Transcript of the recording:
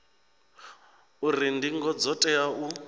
uri ndingo dzo tea u